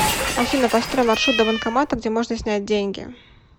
афина построй маршрут до банкомата где можно снять деньги